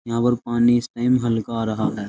यहां पर पानी सेम हल्का आ रहा है।